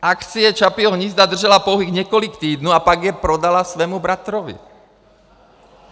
Akcie Čapího hnízda držela pouhých několik týdnů a pak je prodala svému bratrovi.